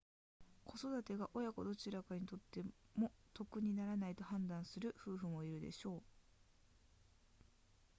子育てが親子どちらにとっても得にならないと判断する夫婦もいるでしょう